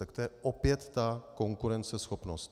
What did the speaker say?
Tak to je opět ta konkurenceschopnost.